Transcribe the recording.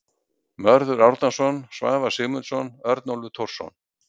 Mörður Árnason, Svavar Sigmundsson, Örnólfur Thorsson.